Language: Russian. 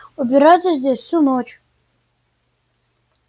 убираться здесь всю ночь